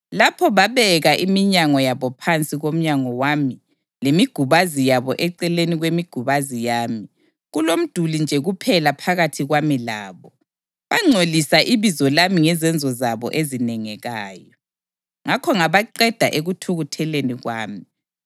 Lapho babeka iminyango yabo phansi komnyango wami lemigubazi yabo eceleni kwemigubazi yami, kulomduli nje kuphela phakathi kwami labo, bangcolisa ibizo lami ngezenzo zabo ezinengekayo. Ngakho ngabaqeda ekuthukutheleni kwami.